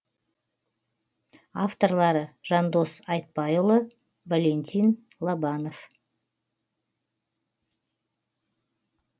авторлары жандос айтбайұлы валентин лобанов